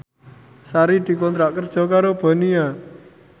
Sari dikontrak kerja karo Bonia